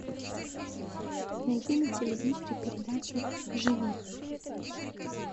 найди на телевизоре передачу живи